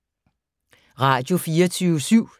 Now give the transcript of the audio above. Radio24syv